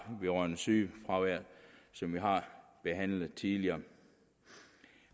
vedrørende sygefraværet som vi har behandlet tidligere